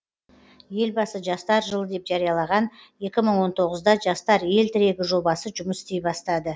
елбасы жастар жылы деп жариялаған екі мың он тоғызда жастар ел тірегі жобасы жұмыс істей бастады